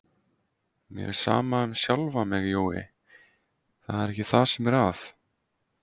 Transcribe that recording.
Mér er sama um sjálfa mig, Jói, það er ekki það sem er að.